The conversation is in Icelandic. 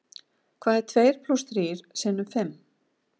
Hvað er tveir plús þrír sinnum fimm?